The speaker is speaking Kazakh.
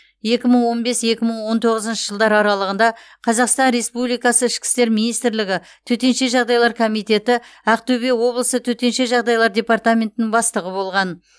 екі мың он бес екі мың он тоғызыншы жылдар аралығында қазақстан республикасы ішкі істер министрлігі төтенше жағдайлар комитеті ақтөбе облысы төтенше жағдайлар департаментінің бастығы болған